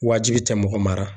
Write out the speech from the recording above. Wajibi te mɔgɔ mara.